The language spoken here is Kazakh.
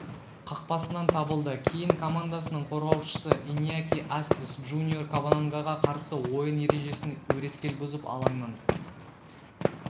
қақпасынан табылды кейін командасының қорғаушысы иньяки астис джуниор кабанангаға қарсы ойын ережесін өрескел бұзып алаңнан